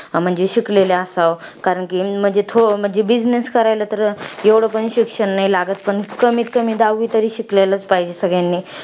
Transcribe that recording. म्हंजी शिकलेलं असावं. कारण कि थो~ म्हंजी business करायला, तर एवढं पण शिक्षण नाही लागत पण कमीतकमी दहावी तरी शिकलेलं असलं पाहिजे सगळ्यांनी.